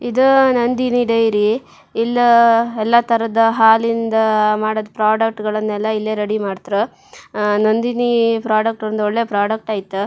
ಇದ ನಂದಿನಿ ಡೈರಿ ಇಲ್ಲ ಎಲ್ಲ ತರದ್ ಹಾಲಿಂದ್ ಮಾಡಿದ್ ಪ್ರಾಡಕ್ಟ್ ಗಳನ್ನೆಲ್ಲಾ ಇಲ್ಲಿ ರೆಡಿ ಮಾಡತ್ರು ಅಹ್ ನಂದಿನಿ ಪ್ರಾಡಕ್ಟ್ ಒಂದು ಒಳ್ಳೆ ಪ್ರಾಡಕ್ಟ್ ಆಯ್ತ್.